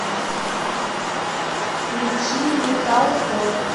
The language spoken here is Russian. включи металкор